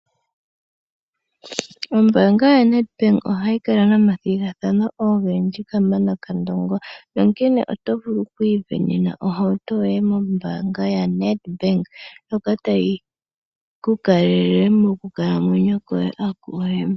Ombanga ya Nedbank oha yi kala nomathigathano ogendji kamana kandongo, nonkene oto vulu okwu ivenena ohauto yoye mombanga yaNedbank ndjoka tayi ku kalele oku kalamwenyo kwoye.